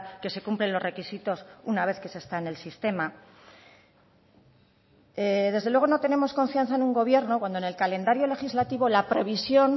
que se cumplen los requisitos una vez que se está en el sistema desde luego no tenemos confianza en un gobierno cuando en el calendario legislativo la previsión